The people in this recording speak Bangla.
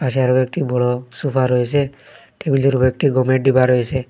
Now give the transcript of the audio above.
পিছে আরো একটি বড় সোফা রয়েছে টেবিলের উপর উপর একটি গমের ডিব্বা রয়েছে।